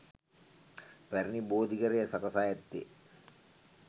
පැරැණි බෝධිඝරය සකසා ඇත්තේ